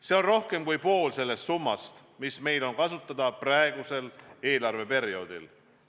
See on rohkem kui pool sellest summast, mis meil on kasutada praegusel eelarveperioodil.